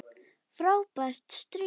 Frábært stríð!